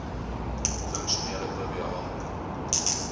funksionele oba